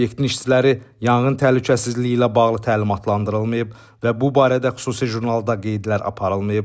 Obyektin işçiləri yanğın təhlükəsizliyi ilə bağlı təlimatlandırılmayıb və bu barədə xüsusi jurnalda qeydlər aparılmayıb.